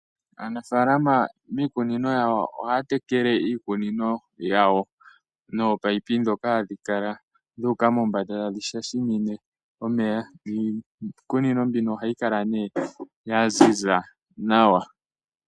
Aanafalama miikunino yawo ohaya tekele iikunino yawo nominino ndhoka hadhi kala dhu uka mombanda tadhi shashamine omeya niikunino mbino oha yi kala nee ya ziza nawa.